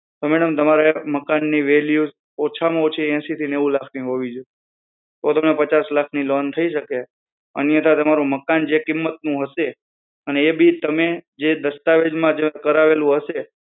તો madam તમારે મકાન ની value ઓછા માં ઓછી એસી થી નેવું લાખ ની હોવી જોઈએ તો તમારે પચાસ લાખ ની લોન થઇ શકે અને અથવા તમારું મકાન જે કિંમત નું છે એ બી તમે જે દસ્તાવેજ માં કરાવેલું હશે